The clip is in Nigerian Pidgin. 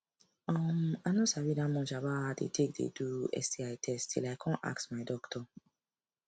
um i no sabi that much about how they take the do sti test till i come ask my doctor